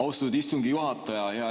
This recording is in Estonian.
Austatud istungi juhataja!